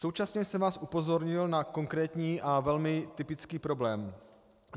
Současně jsem vás upozornil na konkrétní a velmi typický problém.